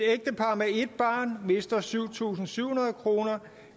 barn mister syv tusind syv hundrede kroner